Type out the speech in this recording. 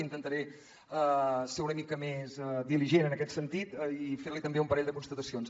intentaré ser una mica més diligent en aquest sentit i fer li també un parell de constatacions